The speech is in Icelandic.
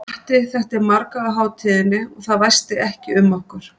Matti þekkti marga á hátíðinni og það væsti ekki um okkur.